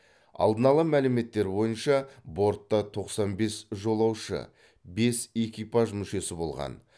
алдын ала мәліметтер бойынша бортта тоқсан бес жолаушы бес экипаж мүшесі болған